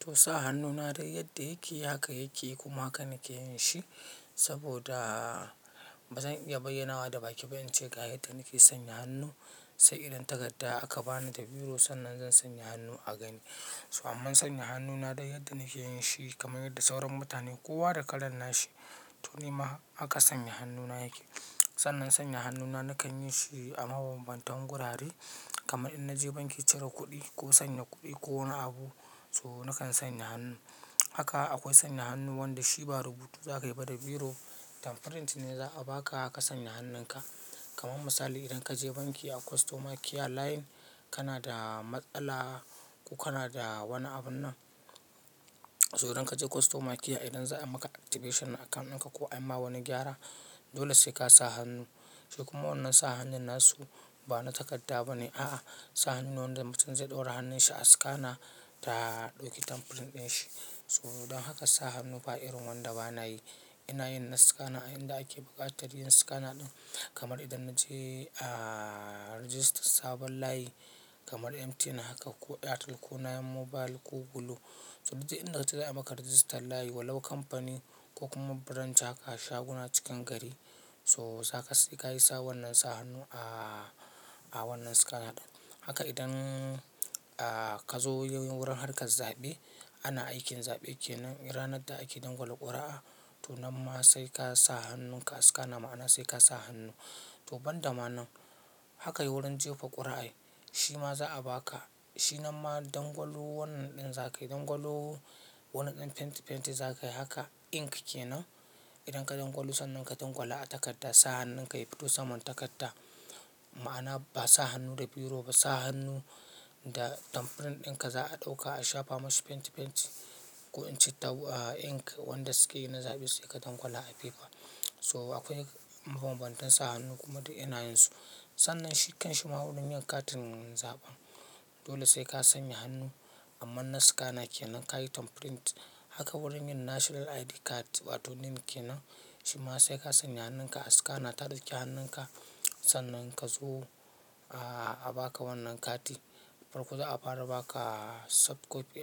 To sa hannu na dai yadda yake haka yake kuma haka nake yin shi saboda bazan iya bayyanawa da baki ba in ce ga yadda nake sanya hannu sai idan takarda aka bani da biro sannan zan sanya hannu a gani. To aman sanya hannu na dai yadda nake yin shi kamar yadda sauran mutane kowa da kalan nashi. To nima haka aka sanya hannuna yake. Sannan sanya hannuna nakan yi shi a mabanbantan gurare kamar in naje banki cire kuɗi ko sanya kuɗi ko wani abu so nakan sanya hannu. Haka akwai sanya hannu wanda shi ba rubuta za ka yi ba da biro, thumbprint ne za a ba ka haka ka sanya hannunka. Kaman misali idan ka je banki a customer care line kana da matsala ko kana da wani abun nan to idan ka je customer care idan za a maka activation na account ɗinka ko a yi ma wani gyara dole sai ka sa hannu. Shi kuma wannan sa hannun na su ba na takarda bane a'a. Sa hannun wanda mutum zai ɗora hannunshi a scanner ta ɗauki thumbprint ɗin shi. To dan haka sa hannu ba irin wanda bana yi. Ina yin na scanner inda ake buƙatar yin scanner ɗin kamar idan na je a register sabon layi kamar MTN haka ko Airtel ko 9Mobile ko Glo. To duk inda na je za a maka register layi walau kamfani ko kuma branch haka a shaguna cikin gari so sai ka yi sa wannan sa hannu a wannan scanner ɗin. Haka idan ka zo wurin harkar zaɓe ana aikin zaɓe kenan ranar da ake dangwala ƙuri'a to nan ma sai ka sa hannun ka a scanner ma'ana sai ka sa hannu. To ban da ma nan haka yi wurin jefa ƙuri'a shi ma za a ba ka shi nan ma dangwalon wannan ɗin za ka yi dangwalon wani ɗan fenti fenti za ka yi haka ink kenan idan ka dangwalo sannan ka dangwala a takadda sa hannunka ya fito saman takarda ma'ana ba sa hannu da biro ba sa hannu da thumbprint ɗinka za a ɗauka a shafa mashi fenti fenti ko inci ta ink wanda suke yi na zaɓe sai ka dangwala a paper. So akwai mabanbantan sa hannu kuma duk ina yin su. Sannan shi kanshi ma wurin yin katin zaɓen dole sai ka sanya hannu amma na scanner kenan ka yi thumbprint. Haka wurin yin national ID card wato NIN kenan shi ma sai ka sanya hannunka a scanner ta ɗauki hannunka sannan ka zo a ba ka wannan kati. Farko za a fara ba ka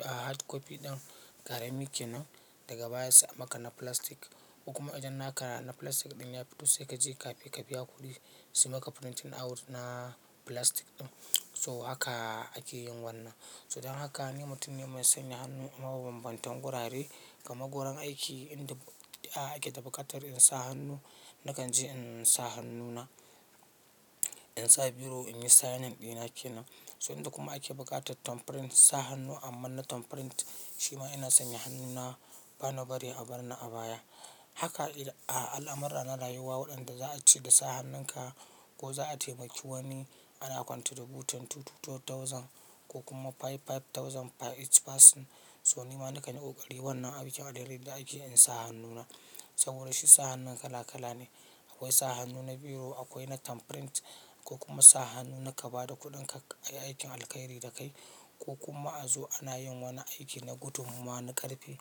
hardcopy ɗin ƙarami kenan daga baya sai a maka na filastik. Kuma idan na ka na filastik ɗin ya fito sai ka je cape ka biya kuɗi su maka printing out na filastik ɗin. So haka ake yin wannan. To idan haka ni mutum ne mai sanya hannu a mabanbantan gurare kamar gurin aiki inda ake da buƙatar in sa hannu nakan je in sa hannuna in sa biro in yi signing ɗina kenan. To inda kuma ake buƙatar thumbprint sa hannu amma na thumbprint shi ma ina sanya hannuna bana bari a bar ni a baya. Haka al'amurra na rayuwa waɗanda za a ce da sa hannunka ko za a taimaki wani ana kwantributin 2000 ko kuma 5000 each person so nima na kanyi ƙoƙari wannan aikin adirin da ake in sa hannuna. Saboda shi sa hannun kala kala ne. Akwai sa hannu na biro akwai na thumbprint ko kuma sa hannu na ka ba da kuɗin ka aikin alkairi da ka yi ko kuma a zo ana yin wani aiki na gudun mawa na ƙarfe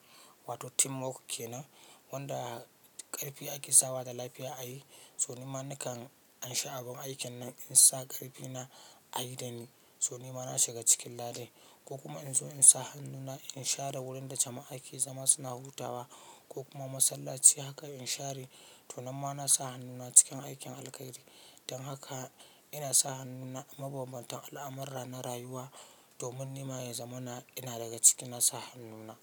wato teamwork kenan wanda ƙarfi ake sawa da lafiya a yi so nima nakan in sha abun aikin nan in sa ƙarfi na a yi da ni so nima na shiga cikin ladai. Ko kuma in zo in sa hannuna in share wurin da jama'a ke zama suna hutawa ko kuma masallaci haka in share to nan ma na sa hannuna cikin aikin alkairi. Dan haka ina sa hannuna mabanbantan al'amurra na rayuwa domin nima yazamana ina daga ciki na sa hannuna.